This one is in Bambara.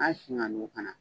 An kana